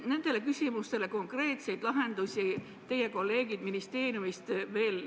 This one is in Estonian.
Nendele küsimustele konkreetseid lahendusi teie kolleegid ministeeriumist veel esmaspäeval ei leidnud ...